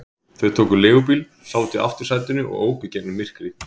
Þau tóku leigubíl, sátu í aftursætinu og óku í gegnum myrkrið.